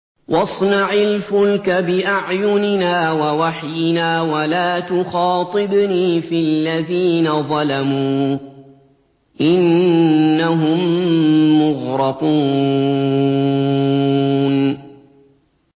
وَاصْنَعِ الْفُلْكَ بِأَعْيُنِنَا وَوَحْيِنَا وَلَا تُخَاطِبْنِي فِي الَّذِينَ ظَلَمُوا ۚ إِنَّهُم مُّغْرَقُونَ